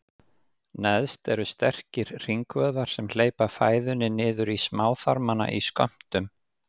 Neðst eru sterkir hringvöðvar sem hleypa fæðunni niður í smáþarmana í skömmtum.